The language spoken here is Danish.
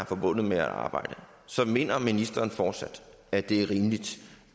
forbundet med at arbejde så mener ministeren fortsat at det er rimeligt